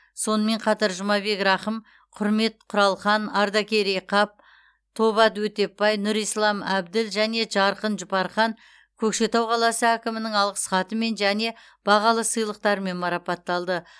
сонымен қатар жұмабек рахым құрмет құралхан ардақерей қап тоба өтепбай нұрислам әбділ және жарқын жұпархан көкшетау қаласы әкімінің алғыс хатымен және бағалы сыйлықтармен марапатталды